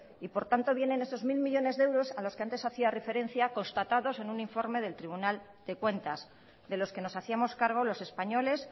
y por tanto vienen esos mil millónes de euros a los que antes hacía referencia constatados en un informe del tribunal de cuentas de los que nos hacíamos cargo los españoles